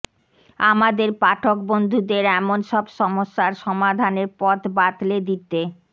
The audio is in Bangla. আমাদের পাঠক বন্ধুদের এমন সব সমস্যার সমাধানের পথ বাতলে দিতে